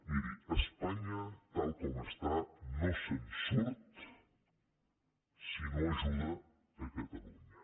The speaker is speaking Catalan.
miri espanya tal com està no se’n surt si no ajuda cata·lunya